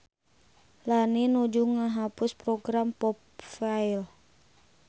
Lani nuju ngahapus program popfile